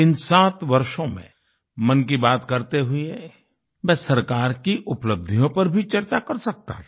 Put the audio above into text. इन सात वर्षों में मन की बात करते हुए मैं सरकार की उपलब्धियों पर भी चर्चा कर सकता था